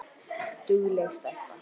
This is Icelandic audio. Dugleg stelpa